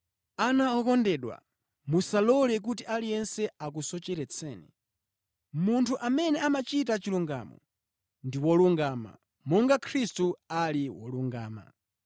Ana okondedwa, musalole kuti aliyense akusocheretseni. Munthu amene amachita chilungamo ndi wolungama, monga Khristu ali wolungama.